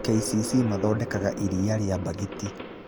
KCC mathodekaga iria rĩa mbagiti.